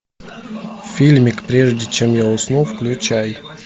фильмик прежде чем я усну включай